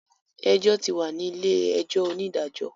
Ẹjọ́ ti wà ní ilé-ẹjọ́ onídàájọ.